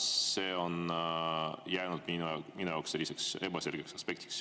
See on jäänud minu jaoks ebaselgeks aspektiks.